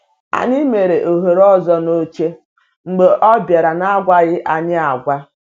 Anyị mere ohere ọzọ n’oche mgbe ọ bịara n’agwaghị anyị agwa.